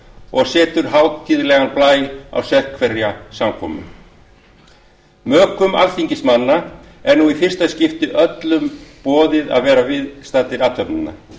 og setur hátíðlegan blæ á sérhverja samkomu mökum alþingismanna er nú í fyrsta skipti öllum boðið að vera við viðstaddir athöfnina